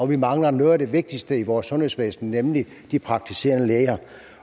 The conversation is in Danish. vi mangler noget af det vigtigste i vores sundhedsvæsen nemlig de praktiserende læger